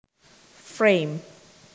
Frame